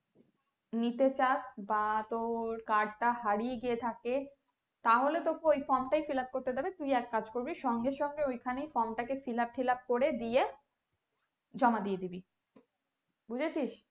নিতে চাস বা তোর card টা হারিয়ে গিয়ে থাকে, তাহলে তোকে ওই from টায় fillup করতে দেবে, তুই এক কাজ করবি সঙ্গে সঙ্গে ঐখানেই from টাকে fillup টিলাপ করে দিয়ে জমা দিয়ে দিবি বুঝেছিস।